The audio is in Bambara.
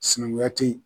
Sinankunya te yen